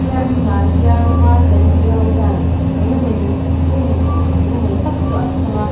helai hmum ah hian vai kan tih ho hian enge mawni hun enge mawni tak chu an hmang a.